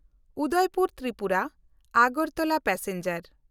Udaipur ᱛᱨᱤᱯᱩᱨᱟ–ᱟᱜᱟᱨᱛᱚᱞᱟ passenger